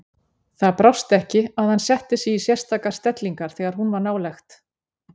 Það brást ekki að hann setti sig í sérstakar stellingar þegar hún var nálægt.